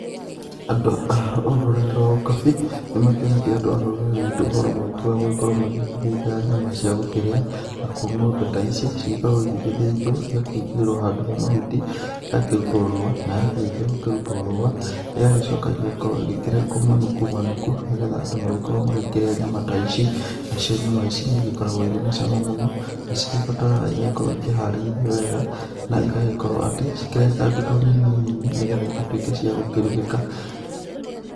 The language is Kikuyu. Andũ a rũrĩrĩ rwa ũkabi nĩmakĩonetie andũ a rũrĩrĩ rwitũ ũhoro mũingĩ gũgĩkorwo magĩgĩthĩnja nyama cia gũkĩrĩa. Nakuo ng'ombe ta ici, cigĩkoragwo igĩgĩthĩnjwo, igakĩigĩrĩrwo handũ he mahuti, igakĩrutwo rũũa, na yakĩrĩkia gũkĩrutwo rũũa, ĩgagĩcoka ĩgagĩkorwo ĩgĩkĩrengwo manuku manuku nĩgetha andũ magĩkorwo magĩkĩrĩa nyama ta ici. Nacio nyama ici nĩigĩkoragwo irĩ na cama mũno. Nacio igĩbataraga igagĩkorwo ikĩharĩirio wega, na igagĩkorwo atĩ cikĩrengangĩtwo nini nini, nĩgetha igĩtuĩke cia gũkĩrugĩka.